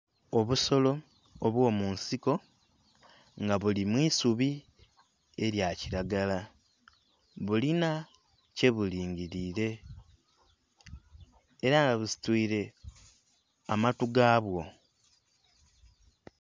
Obusolo obwomunsiko nga buli mwiisubi eryakiragala bulina kyebulingirire era nga busitwire amatu gabwo.